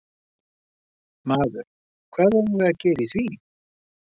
Maður: Hvað eigum við að gera í því?